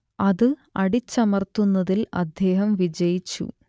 അത് അടിച്ചമർത്തുന്നതിൽ അദ്ദേഹം വിജയിച്ചു